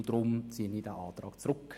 Deshalb ziehe ich diesen Antrag zurück.